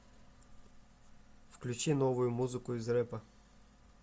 включи новую музыку из рэпа